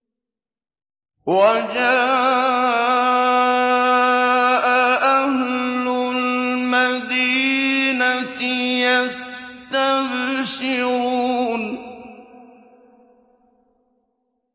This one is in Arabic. وَجَاءَ أَهْلُ الْمَدِينَةِ يَسْتَبْشِرُونَ